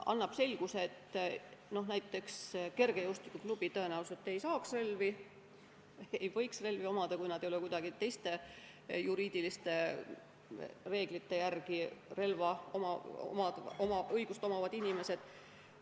Annab selguse, et näiteks kergejõustikuklubi tõenäoliselt ei või relvi omada, kui ta ei ole mingisuguste teiste juriidiliste reeglite järgi relvaõigust saanud.